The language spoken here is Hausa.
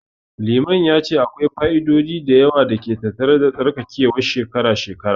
Limamin ya ce akwai fa'idodi da yawa da ke tattare da tsarkakewar shekara-shekara.